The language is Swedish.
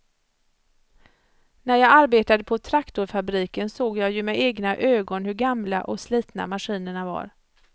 När jag arbetade på traktorfabriken såg jag ju med egna ögon hur gamla och slitna maskinerna var.